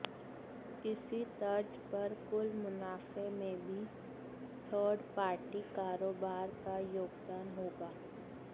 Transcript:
इसी तर्ज पर कुल मुनाफे में भी थर्ड पार्टी कारोबार का योगदान होगा